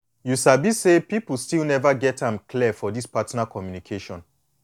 you sabi say people still never get am clear for this partner communication